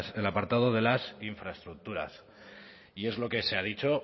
en el apartado de las infraestructuras y es lo que se ha dicho